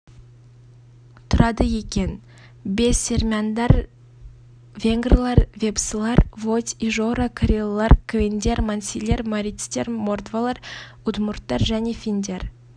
тұрады екен бесермяндар венгрлер вепсылар водь ижора карелылар квендер мансилар марийцтер мордвалар удмурттар және финдер